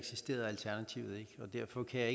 jeg